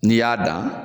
N'i y'a dan